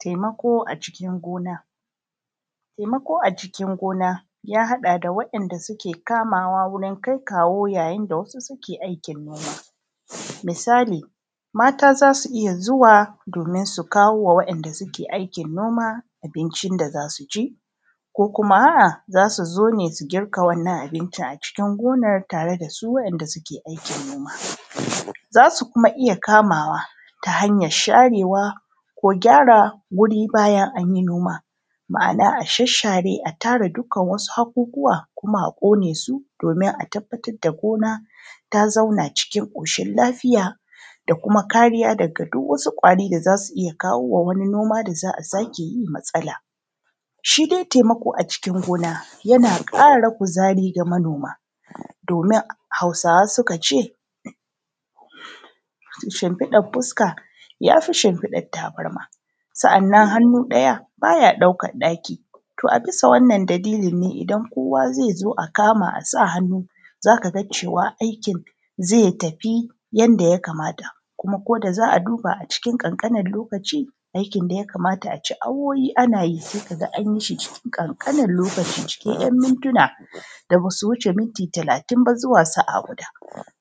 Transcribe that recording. Taimako a cikin gona taimako a cikin gona ya haɗa da wanda suke kamawa wurin kaikawo yayin da wasu suke aikin noma misali, mata za su iya zuwa domin su kawo wa wanda suke aikin noma, abincin da za su ci ko kuma a`a za su zo ne su girka wannan abincin a cikin gonan tare da su wa`inda suke aikin noma za su kuma iya kamawa ta hanyan sharewa ko gyara guri bayan anyi noma ma`ana a shashshare a tara dukan wasu haƙuƙuwa kuma a ƙone su domin a tabbatar da gona ta zauna cikin ƙoshin lafiya da kuma kariya daga dukan wasu kwari da za su iya kawowa wani noma da za`a sake yi matsala, shi dai taimako a cikin gona yana ƙara kuzari ga manoma domin Hausawa suka ce shimfiɗar fuska yafi shimfiɗan tabarma sa`annan hannu ɗaya ɗaukan ɗaki to a bisa wannan dalilin ne idan kowa zai zo a kama a sa hannu zaka ga cewa aikin zai tafi yanda ya kamata kuma kol da za`a duba a cikin ƙanƙanin lokaci aikin da ya kamata a ci awowi ana yi sai kaga an yi shi cikin ƙanƙanin lokaci cikin `yan mintuna da basu wuce minti talatin ba zuwa sa`a guda